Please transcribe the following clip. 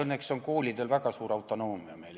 Õnneks on Eestis koolidel väga suur autonoomia.